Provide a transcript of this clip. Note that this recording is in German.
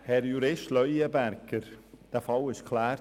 Herr Jurist Leuenberger, dieser Fall wurde abgeklärt.